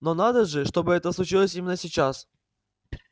но надо же чтобы это случилось именно сейчас